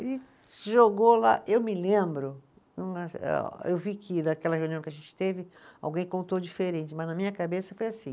Ele jogou lá, eu me lembro, não eh, eu vi que naquela reunião que a gente teve, alguém contou diferente, mas na minha cabeça foi assim.